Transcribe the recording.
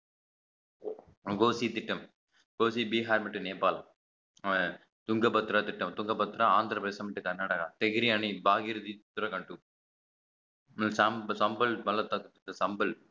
மகோஸி திட்டம் மகோஸி பீகார் மற்றும் நேபாள் அஹ் துங்க பத்ரா திட்டம் துங்க பத்ரா ஆந்திர பிரதேசம் கர்நாடகா தெகிரி அணி பாக்யராதி உத்தரகண்ட் சாம்~ சம்பல் பள்ளத்தாக்கு சாம்பல்